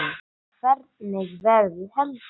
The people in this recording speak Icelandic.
Hvernig verður helgin?